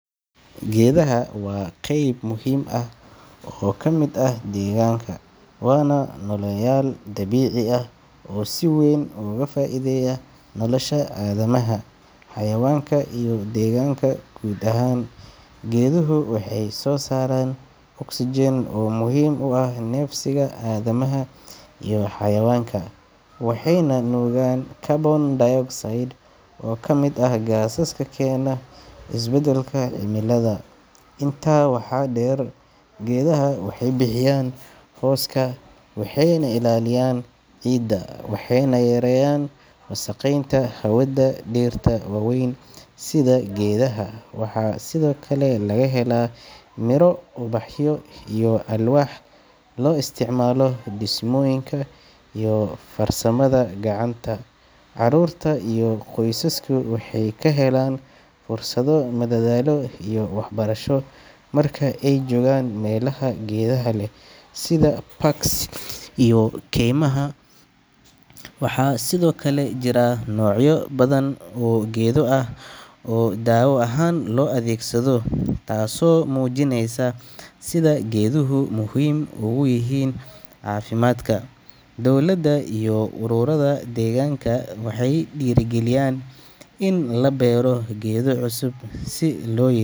Geedaha waa qayb muhiim ah oo ka mid ah deegaanka, waana nooleyaal dabiici ah oo si weyn ugu faa’iideeya nolosha aadamaha, xayawaanka iyo deegaanka guud ahaan. Geeduhu waxay soo saaraan oxygen oo muhiim u ah neefsiga aadamaha iyo xayawaanka, waxayna nuugaan carbon dioxide oo ka mid ah gaasaska keena isbedelka cimilada. Intaa waxaa dheer, geedaha waxay bixiyaan hooska, waxay ilaalinayaan ciidda, waxayna yareeyaan wasakheynta hawada. Dhirta waaweyn sida geedaha waxaa sidoo kale laga helaa miro, ubaxyo iyo alwaax loo isticmaalo dhismooyinka iyo farsamada gacanta. Carruurta iyo qoysasku waxay ka helaan fursado madadaalo iyo waxbarasho marka ay joogaan meelaha geedaha leh sida parks iyo kaymaha. Waxaa sidoo kale jira noocyo badan oo geedo ah oo daawo ahaan loo adeegsado, taasoo muujinaysa sida geeduhu muhiim ugu yihiin caafimaadka. Dowladda iyo ururrada deegaanka waxay dhiirrigeliyaan in la beero geedo cusub si loo ya.